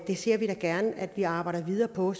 vi ser da gerne at der arbejdes videre på